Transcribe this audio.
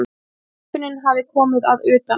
Skipunin hafi komið að utan.